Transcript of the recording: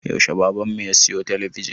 Yaushe baban mu ya siyo talabijin?